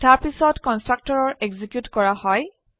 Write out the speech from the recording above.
তাৰপিছত constructor execute কৰা হয়